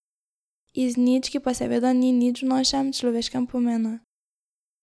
Iz nič, ki pa seveda ni nič v našem, človeškem pomenu.